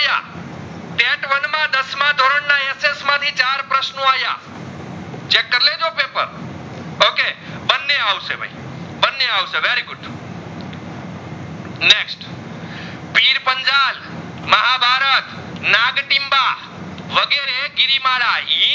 નગતિમબા વગરે ગિરિમાડા